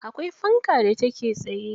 Akwai fanka da take tsaye.